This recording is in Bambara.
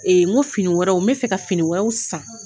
N ko fini wɛrɛw n mɛ fɛ ka fini wɛrɛw san